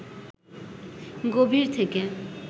গভীর থেকে